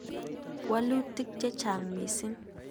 Wolutiik chechang' mising'.